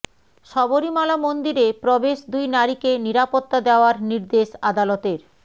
শবরীমালা মন্দিরে প্রবেশ দুই নারীকে নিরাপত্তা দেওয়ার নির্দেশ আদালতের